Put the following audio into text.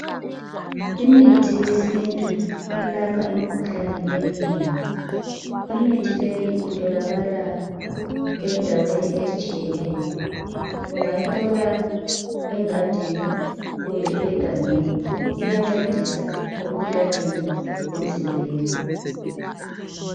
Imithi yesintu eyelapha imikhuhlane eminengi imithi leyi itholakala endaweni ezitshiyeneyo, ungayithola engadini kumbe egangeni iyancedisa emkhuhlaneni emzimbeni.